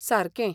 सारकें!